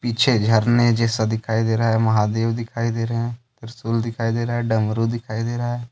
पीछे झरने जैसा दिखाई दे रहा है महादेव दिखाई दे रहे हैं त्रिशूल दिखाई दे रहा है डमरू दिखाई दे रहा है।